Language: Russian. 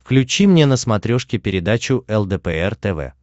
включи мне на смотрешке передачу лдпр тв